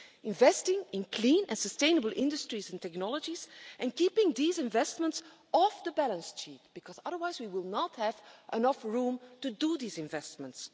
Investing in clean and sustainable industries and technologies and keeping these investments off the balance sheet, because otherwise we will not have enough room to make these investments.